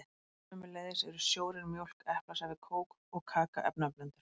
Sömuleiðis eru sjórinn, mjólk, eplasafi, kók og kaka efnablöndur.